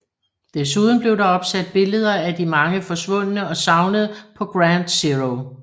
Desuden blev der opsat billeder af de mange forsvundne og savnede på Ground Zero